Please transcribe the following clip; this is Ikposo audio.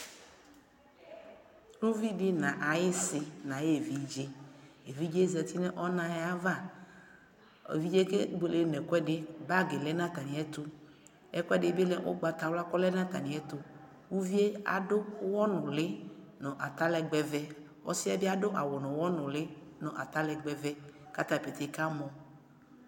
Uvidɩ na ayɩsɩ n'ay'evidze , evidze zati n'ɔna ayava Evidze kebuele n'ɛkʋɛdɩ Bagidɩ lɛ n''atamɩɛtʋ , ɛkʋɛdɩ bɩ lɛ ʋgbatawla k'ɔlɛ n'atamɩɛtʋ Uvie adʋ aɣɔnʋlɩ n'atalɛgbɛvɛ, 'ɔsɩɛ bɩ adʋ awʋ n'ʋɣɔ nʋlɩ n'atalɛgbɛvɛ k'atabɩ tsɩkamɔ